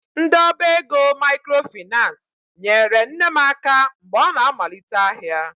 Ndị ọba ego microfinace nyere nne m aka mgbe ọ na-amalite ahịa.